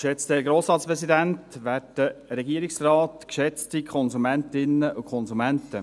Geschätzter Herr Grossratspräsident, werter Regierungsrat, geschätzte Konsumentinnen und Konsumenten.